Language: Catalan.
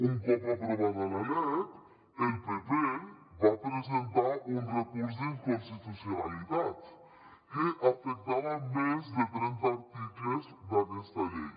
un cop aprovada la lec el pp va presentar un recurs d’inconstitucionalitat que afectava més de trenta articles d’aquesta llei